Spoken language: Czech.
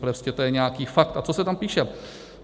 Prostě to je nějaký fakt a to se tam píše: